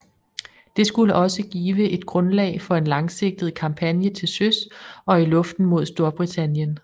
Det skulle også give et grundlag for en langsigtet kampagne til søs og i luften mod Storbritannien